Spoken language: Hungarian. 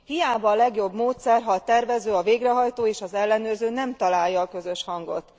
Hiába a legjobb módszer, ha a tervező, a végrehajtó és az ellenőrző nem találja a közös hangot.